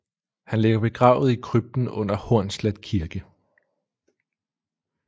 Han ligger begravet i krypten under Hornslet Kirke